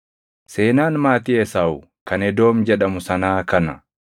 Seenaan maatii Esaawu kan Edoom jedhamu sanaa kana.